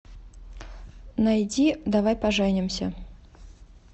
найди давай поженимся